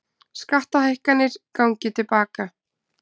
Skattahækkanir gangi til baka